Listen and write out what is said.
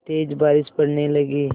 तेज़ बारिश पड़ने लगी